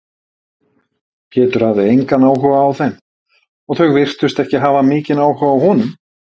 Pétur hafði engan áhuga á þeim og þau virtust ekki hafa mikinn áhuga á honum.